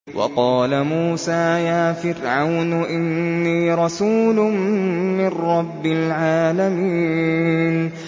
وَقَالَ مُوسَىٰ يَا فِرْعَوْنُ إِنِّي رَسُولٌ مِّن رَّبِّ الْعَالَمِينَ